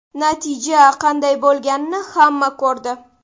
Natija qanday bo‘lganini hamma ko‘rdi.